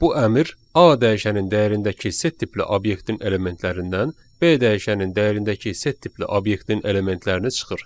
Bu əmr A dəyişənin dəyərindəki set tipli obyektin elementlərindən B dəyişənin dəyərindəki set tipli obyektin elementlərini çıxır.